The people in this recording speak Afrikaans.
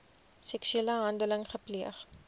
seksuele handeling gepleeg